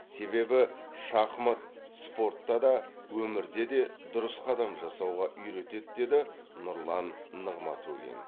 себебі шахмат спортта да өмірде де дұрыс қадам жасауға үйретеді деді нұрлан нығматулин